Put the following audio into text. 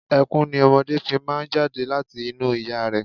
Ẹkún ni ọmọdé fi máa ń jáde láti inú ìyá rẹ̀.